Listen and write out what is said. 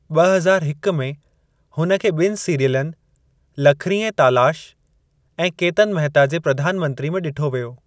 ब॒ हज़ार हिक में हुन खे ॿिनि सीरियलनि लखरीं ऐं तालाश ऐं केतन महिता जे प्रधान मंत्री में ॾिठो वियो।